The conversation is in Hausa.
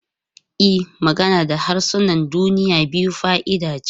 E, magana da harsunan duniya biyu fa'ida ce.